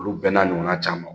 Olu bɛɛ n'a ɲɔgɔnna caman.